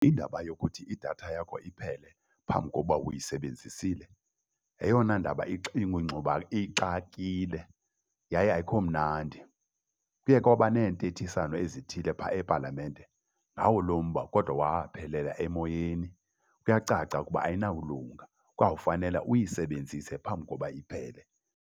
Indaba yokuthi idatha yakho iphele phambi kokuba uyisebenzisile yeyona ndaba ixinge ixakekile yaye ayikho mnandi. Kuye kwaba neentethisano ezithile pha epalamente ngawo lo mba kodwa waphelela emoyeni. Kuyacaca ukuba ayinawulunga. Kwawufanele uyisebenzise phambi koba iphele.